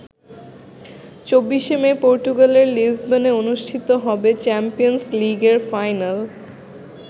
২৪শে মে পর্তুগালের লিসবনে অনুষ্ঠিত হবে চ্যাম্পিয়ন্স লীগের ফাইনাল।